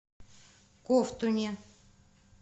ковтуне